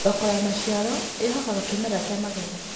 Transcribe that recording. Thoko ya macĩaro ĩhokaga kĩmera kĩa magetha